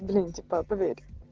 блин типа поверь